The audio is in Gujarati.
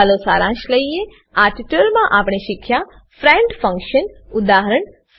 ચાલો સારાંશ લઈએ આ ટ્યુટોરીયલમાં આપણે શીખ્યા ફ્રેન્ડ ફંકશન ફ્રેન્ડ ફંક્શન ઉદા